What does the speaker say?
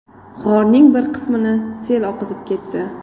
G‘orning bir qismini sel oqizib ketdi.